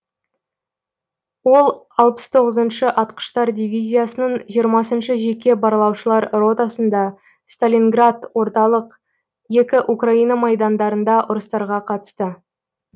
ол алпыс тоғызыншы атқыштар дивизиясының жиырмасыншы жеке барлаушылар ротасында сталинград орталық екі украина майдандарында ұрыстарға қатысты